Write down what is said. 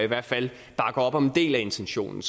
hvert fald bakker op om en del af intentionen